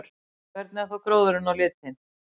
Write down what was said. Hvernig er þá gróðurinn á litinn?